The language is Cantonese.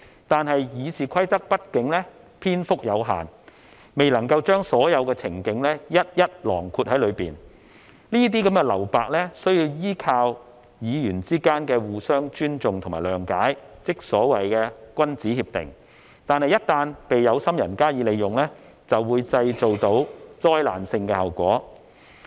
但是，《議事規則》畢竟篇幅有限，未能夠將所有的情景一一囊括在內，這些留白需要依靠議員之間的互相尊重和諒解，即所謂的君子協定，但一旦被有心人加以利用，便會帶來災難性效果。